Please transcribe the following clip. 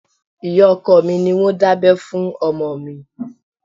Ìyá ọkọ mi ni wọ́n dábẹ́ fún ọmọ mi